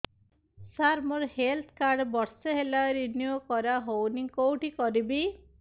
ସାର ମୋର health card ବର୍ଷେ ହେଲା ରିନିଓ କରା ହଉନି କଉଠି କରିବି